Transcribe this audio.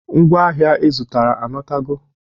Ngwa ahịa ị zụtara anatago?